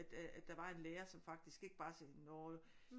At der var en lærer som faktisk ikke bare sagde nåh